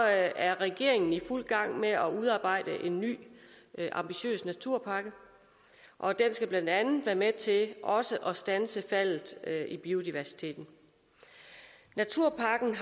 er regeringen i fuld gang med at udarbejde en ny ambitiøs naturpakke og den skal blandt andet være med til også at standse faldet i biodiversiteten naturpakken